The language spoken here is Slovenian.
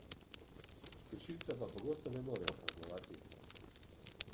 Kršilca pa pogosto ne morejo kaznovati.